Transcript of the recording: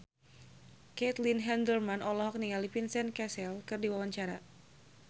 Caitlin Halderman olohok ningali Vincent Cassel keur diwawancara